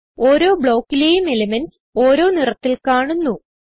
ഓരോ Blockലേയും എലിമെന്റ്സ് ഓരോ നിറത്തിൽ കാണുന്നു